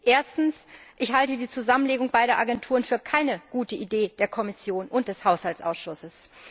Erstens Ich halte die Zusammenlegung beider Agenturen für keine gute Idee der Kommission und des Haushaltsausschusses.